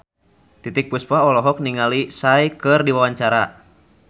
Titiek Puspa olohok ningali Psy keur diwawancara